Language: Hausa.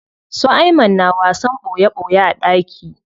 Su Ayman na wasan ɓoye ɓoye a ɗaki.